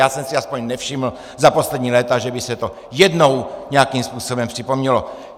Já jsem si aspoň nevšiml za poslední léta, že by se to jednou nějakým způsobem připomnělo.